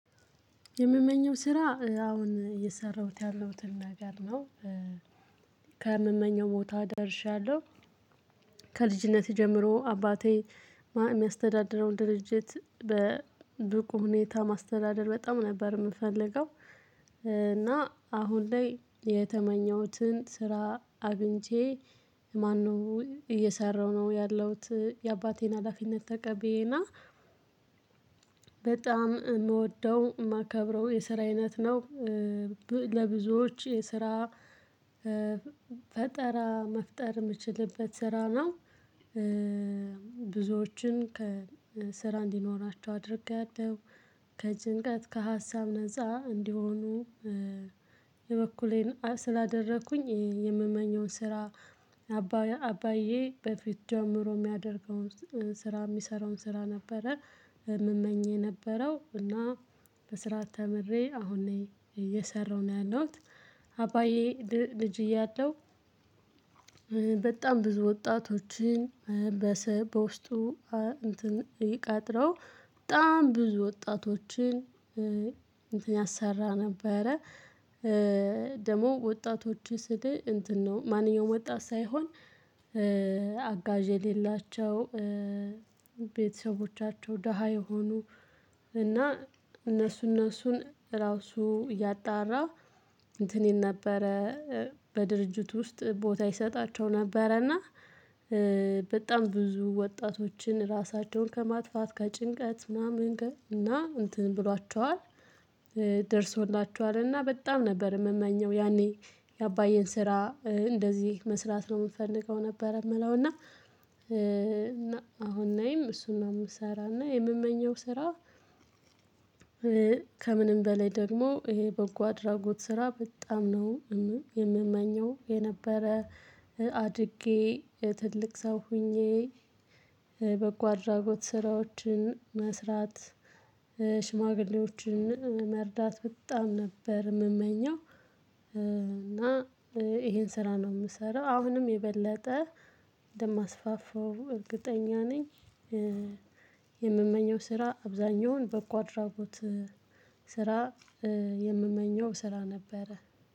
የምመኘው ስራ አሁን እየሰራሁት ያለሁትን ነገር ነው ከምመኘው ቦታ ደርሻለሁ። ከልጅነቴ ጀምሮ አባቴ የሚያስተዳድረውን ድርጅት በብቁ ሁኔታ ማስተዳደር በጣም ነበር የምፈልገው። እና አሁን ላይ የተመኘሁትን ስራ አግኝቼ ማነው እየሰራሁ ነው ያለሁት። የአባቴን ሀላፊነት ተቀበየና በጣም የምወደው የማከብረው የስራ አይነት ነው። ለብዙዎች የስራ ፈጠራ መፍጠር የምችልበት ስራ ነው። ብዙዎችን ከስራ እንዲኖራቸው አድርጊያለው። ከጭንቀት ከሀሳብ ነዛ እንዲሆኑ። የበኩሌን ስላደረኩኝ የምመኘውን ስራ አባዬ አባዬ በፊት ጀምሮ የሚያደርገውን ስራ የሚሰራውን ስራ ነበረ። የምመኝ የነበረው እና በስራ ተምሬ አሁን እየሰራሁ ነው ያለሁት። አባዬ ልጅ እያለሁ። በጣም ብዙ ወጣቶችን በውስጡ እንትን ቀጥረው በጣም ብዙ ወጣቶችን እንትን ያሰራ ነበረ። ደግሞ ወጣቶች ስል እንትን ነው ማንኛውም ወጣት ሳይሆን አጋዥ የሌላቸው ቤተሰቦቻቸው ደሃ የሆኑ እና እነሱ እነሱን ራሱ እያጣራ እንትን ነበረ። በድርጅቱ ውስጥ ቦታ ይሰጣቸው ነበረ። እና በጣም ብዙ ወጣቶችን ራሳቸውን ከማጥፋት ከጭንቀት ማመንገብ እና እንትን ብሏችኋል። ደርሶላችኋል እና በጣም ነበር የምመኘው ያኔ። የአባዬን ስራ እንደዚህ መስራት ነው የምፈልገው ነበር የምለው። እና እና አሁን ላይም እሱን ነው የምሰራና የምመኘው ስራ። ከምንም በላይ ደግሞ ይሄ በጎ አድራጎት ስራ በጣም ነው። የምመኘው የነበረ። አድጌ ትልቅ ሰው ሆኜ በጎ አድራጎት ስራዎችን መስራት። ሽማግሌዎችን መርዳት በጣም ነበር የምመኘው። እና ይሄን ስራ ነው የምሰራው አሁንም የበለጠ እንደማስፋፋው እርግጠኛ ነኝ። የምመኘው ስራ አብዛኛውን በጎ አድራጎት ስራ የምመኘው ስራ ነበረ